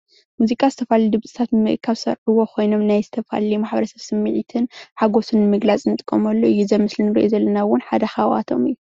ሙዚቃ ዝተፈላለየ ድምፅታት ብምእካብ ዝሰርሕዎ ኮይኖም ናይ ዝተፈላለየ ማሕበረሰብ ስምዒትን ሓጎስን ንምግላፅ እንጥቀመሉ እዩ። እዚ ምስሊ እንርእዮ ዘለና እውን ሓደ ካብአቶም እዩ።